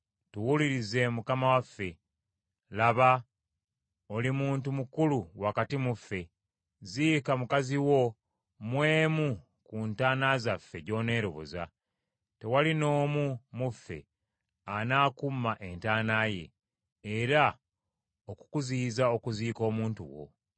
“Tuwulirize mukama waffe. Laba, oli muntu mukulu wakati mu ffe. Ziika mukazi wo mu emu ku ntaana zaffe gy’oneeroboza. Tewali n’omu mu ffe anaakuuma ntaana ye, oba okukuziyiza okuziika omuntu wo.”